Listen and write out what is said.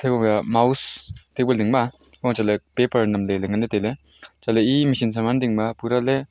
thai wovi a mouse table ding ma a ma chaley paper namley ley nganley l tailey chatley e machine saman dingma pura ley --